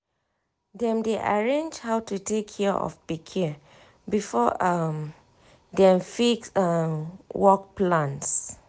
dem dey arrange how to take care of pikin before um dem fix um work plans.